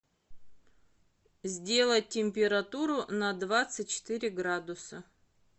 сделать температуру на двадцать четыре градуса